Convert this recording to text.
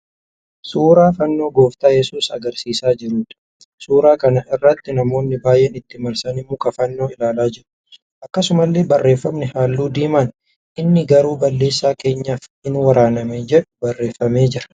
Suuraa Fannoo gooftaa Yesuus agarsiisaa jiruudha. Suuraa kana irratti namoonni baay'een itti marsanii muka fannoo ilaalaa jiru. Akkasumallee barreeffamni halluu diimaan 'Inni garuu balleessaa keenyaaf in waraaname'. jedhu barreeffamee jira.